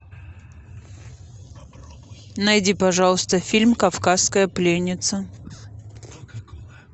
найди пожалуйста фильм кавказская пленница